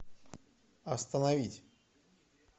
остановить